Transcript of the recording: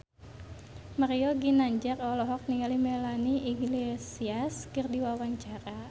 Mario Ginanjar olohok ningali Melanie Iglesias keur diwawancara